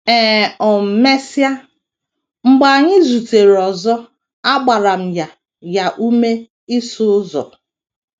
E um mesịa, mgbe anyị zutere ọzọ, agbara m ya ya ume ịsụ ụzọ.